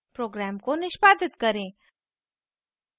program को निष्पादित करें